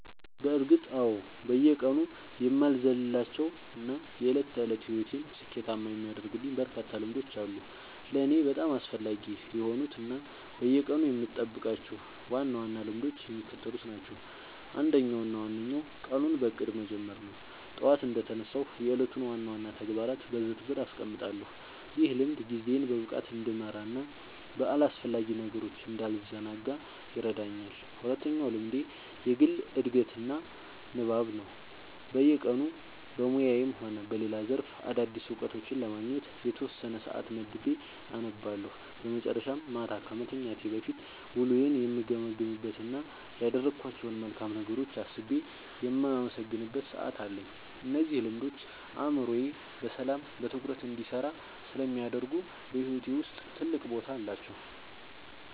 በእርግጥ አዎ፤ በየቀኑ የማልዘልላቸው እና የዕለት ተዕለት ሕይወቴን ስኬታማ የሚያደርጉልኝ በርካታ ልምዶች አሉ። ለእኔ በጣም አስፈላጊ የሆኑት እና በየቀኑ የምጠብቃቸው ዋና ዋና ልምዶች የሚከተሉት ናቸው፦ አንደኛው እና ዋነኛው ቀኑን በእቅድ መጀመር ነው። ጠዋት እንደተነሳሁ የዕለቱን ዋና ዋና ተግባራት በዝርዝር አስቀምጣለሁ፤ ይህ ልምድ ጊዜዬን በብቃት እንድመራና በአላስፈላጊ ነገሮች እንዳልዘናጋ ይረዳኛል። ሁለተኛው ልምዴ የግል ዕድገትና ንባብ ነው፤ በየቀኑ በሙያዬም ሆነ በሌላ ዘርፍ አዳዲስ እውቀቶችን ለማግኘት የተወሰነ ሰዓት መድቤ አነባለሁ። በመጨረሻም፣ ማታ ከመተኛቴ በፊት ውሎዬን የምገመግምበት እና ያደረግኳቸውን መልካም ነገሮች አስቤ የማመሰግንበት ሰዓት አለኝ። እነዚህ ልምዶች አእምሮዬ በሰላምና በትኩረት እንዲሰራ ስለሚያደርጉ በሕይወቴ ውስጥ ትልቅ ቦታ አላቸው።"